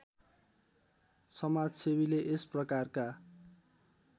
समाजसेवीले यस प्रकारका